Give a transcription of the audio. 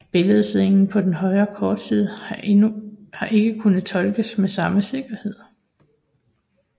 Billedscenen på den højre kortside har ikke kunnet tolkes med samme sikkerhed